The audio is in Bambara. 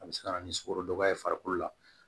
A bɛ se ka na ni sukarodun ye farikolo la